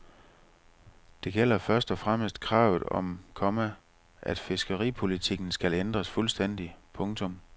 Det gælder først og fremmest kravet om, komma at fiskeripolitikken skal ændres fuldstændigt. punktum